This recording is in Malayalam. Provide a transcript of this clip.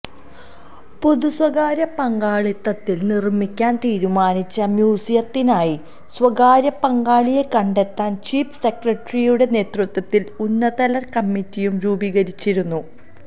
പൊതുസ്വകാര്യ പങ്കാളിത്തത്തില് നിര്മിക്കാന് തീരുമാനിച്ച മ്യൂസിയത്തിനായി സ്വകാര്യപങ്കാളിയെ കണ്ടെത്താന് ചീഫ് സെക്രട്ടറിയുടെ നേതൃത്വത്തില് ഉന്നതതല കമ്മിറ്റിയും രൂപീകരിച്ചിരുന്നു